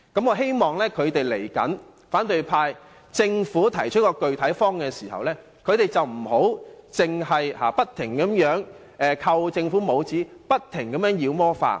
我希望當政府提出具體方案時，反對派別只管不斷給政府扣帽子，把事情妖魔化。